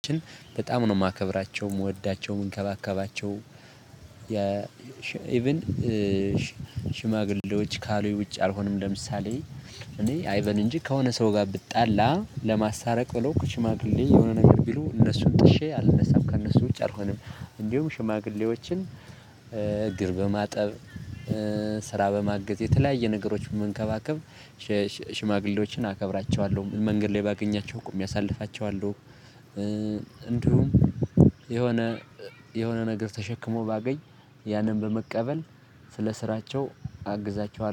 በጣም ነው የማከብራቸው የምወዳቸው የምንከባከባቸው ኢቭን ሽማግሌዎች ካሉኝ ውጭ አልሆንም ለምሳሌ እኔ አይበል እንጂ ከሆነ ሰው ጋር ብጣላ ለማሳታረቅ ብለው ሽማግሌ የሆነ ነገር ቢሉ እነሱን ጥሼ አልነሳም ከእነሱ ውጪ አልሆንም። እንዲሁም ሽማግሌዎችን እግር በማጠብ ስራ በማገዝ የተለያየ ነገሮችን መንከባከብ ሽማግሌዎችን አከብራቸዋለሁ። መንገድ ላይ ባገኛቸው ቁሜ አሳልፋቸዋለሁ። እንዲሁም የሆነ የሆነ ነገር ተሸክሞ ባገኝ ያንን በመቀበል ስለ ስራቸው አግዛቸዋለሁ